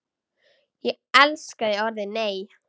Ég elskaði orðið NEI!